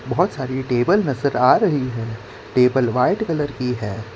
बहोत सारी टेबल नजर आ रही है टेबल व्हाइट कलर की है।